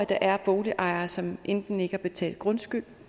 der er boligejere som enten ikke har betalt grundskyld